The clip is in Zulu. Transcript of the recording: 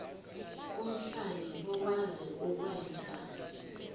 omhlali okwazi ukwenza